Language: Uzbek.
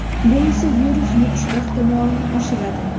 Bu esa virus yuqishi ehtimolini oshiradi.